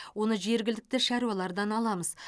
оны жергілікті шаруалардан аламыз